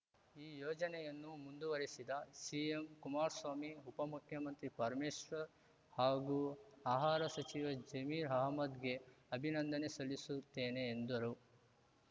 ಈ ಯೋಜನೆಯನ್ನು ಮುಂದುವರೆಸಿದ ಸಿಎಂ ಕುಮಾರ್ ಸ್ವಾಮಿ ಉಪ ಮುಖ್ಯಮಂತ್ರಿ ಪರಮೇಶ್ವರ್‌ ಹಾಗೂ ಆಹಾರ ಸಚಿವ ಜಮೀರ್‌ಅಹಮದ್‌ಗೆ ಅಭಿನಂದನೆ ಸಲ್ಲಿಸುತ್ತೇನೆ ಎಂದರು